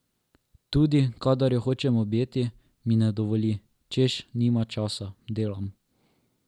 Tudi kadar jo hočem objeti, mi ne dovoli, češ nimam časa, delam.